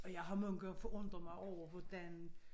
Og jeg har mange gange forundret mig over hvordan